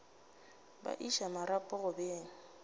ba iša marapo go beng